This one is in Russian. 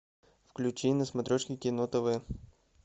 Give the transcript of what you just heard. включи на смотрешке кино тв